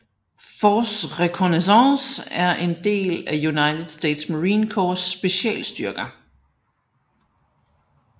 Force Reconnaissance er en af United States Marine Corps specialstyrker